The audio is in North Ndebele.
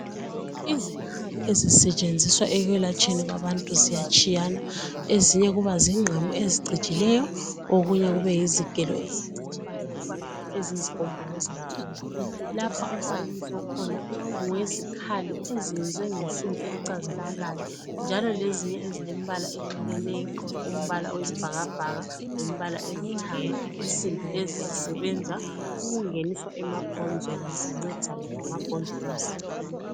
Izikhali ezisetshenziswa ekwelapheni abantu ziyatshiyana ezinye kuba zingqamu ezicijileyo okunye kube yizigelo ezicijileyo loba eziyizigombolozi phambili. Lapha umfanekiso okhona ngowezikhali ezenziwe ngensimbi ecazimulayo njalo lezinye ezilembala eyehlukeneyo umbala oyisibhakabhaka lombala olithanga . Insimbi lezi zisebenza ukungeniswa emabhonzweni zincedisane lamabhonzo emzimbeni.